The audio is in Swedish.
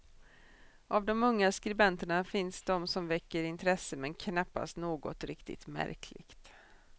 Av de unga skribenterna finns de som väcker intresse men knappast något riktigt märkligt.